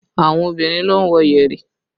Àwọn obìnrin ló ń wọ yẹ̀rì